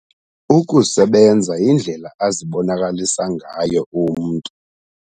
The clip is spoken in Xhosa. Ukusebenza yindlela azibonakalisa ngayo umntu.